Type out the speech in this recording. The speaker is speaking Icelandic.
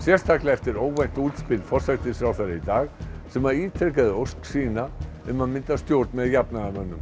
eftir óvænt útspil forsætisráðherra í dag sem ítrekar ósk um að mynda stjórn með jafnaðarmönnum